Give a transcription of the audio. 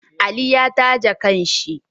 Aliyi ya taje kan shi